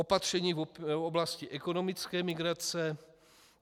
Opatření v oblasti ekonomické migrace.